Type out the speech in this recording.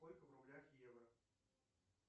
сколько в рублях евро